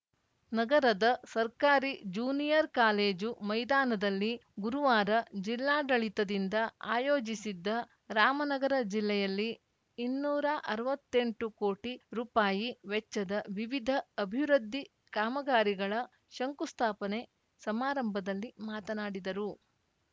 ನಗರದ ಸರ್ಕಾರಿ junior college ಮೈದಾನದಲ್ಲಿ ಗುರುವಾರ ಜಿಲ್ಲಾಡಳಿತದಿಂದ ಆಯೋಜಿಸಿದ್ದ ರಾಮನಗರ ಜಿಲ್ಲೆಯಲ್ಲಿ ಇನ್ನೂರ ಅರ್ವತ್ತೆಂಟು ಕೋಟಿ ರುಪಾಯಿ ವೆಚ್ಚದ ವಿವಿಧ ಅಭಿವೃದ್ಧಿ ಕಾಮಗಾರಿಗಳ ಶಂಕುಸ್ಥಾಪನೆ ಸಮಾರಂಭದಲ್ಲಿ ಮಾತನಾಡಿದರು